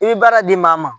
I bɛ baara di maa ma